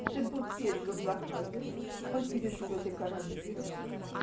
петербург пережил блокаду он переживёт и коронавирус